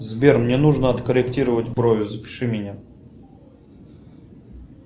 сбер мне нужно откорректировать брови запиши меня